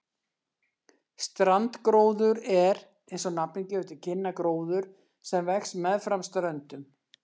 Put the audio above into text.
Strandgróður er, eins og nafnið gefur til kynna, gróður sem vex meðfram ströndum.